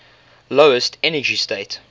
lowest energy state